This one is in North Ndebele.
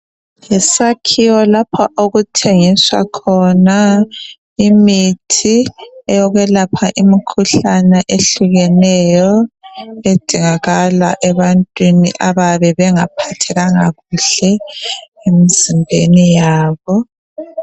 Yisakhiwo lapho okuthengiswa khona imithi eyokwelapha imikhuhlane ehlukeneyo edingakala ebantwini abayabe bengaphathekanga kuhle emzimbeni yabo